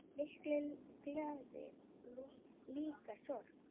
Mikil gleði og líka sorgir.